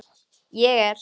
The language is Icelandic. Ég er.